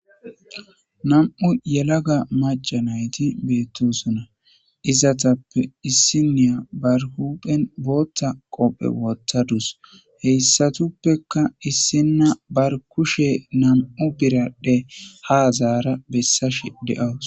nam'u yelaga maca nayti beettosonna izatappe issiniya bar huphen bootta qopphe wottadus heyssatuppeka issinna bar kushe nam'u biraddhe ha zaara bessash de'awus